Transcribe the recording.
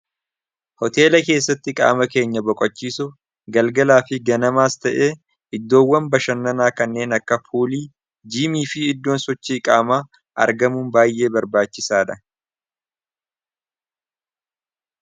hoteela keessatti qaama keenya boqachiisu galgalaa fi ganamaas ta'ee iddoowwan bashannanaa kanneen akka fuulii gm fi iddoon sochii qaama argamuun baay'ee barbaachisaa dha